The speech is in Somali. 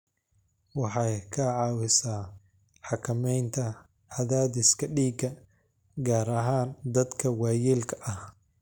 Waxay ka caawisaa xakamaynta cadaadiska dhiigga, gaar ahaan dadka waayeelka ah.